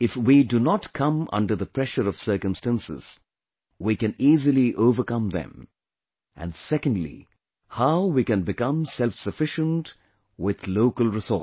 if we do not come under the pressure of circumstances, we can easily overcome them, and secondly, how we can become selfsufficient with local resources